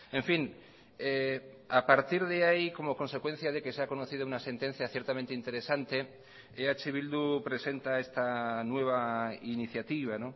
en fin a partir de ahí como consecuencia de que se ha conocido una sentencia ciertamente interesante eh bildu presenta esta nueva iniciativa